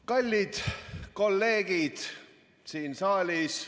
Kallid kolleegid siin saalis!